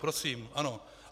Prosím, ano.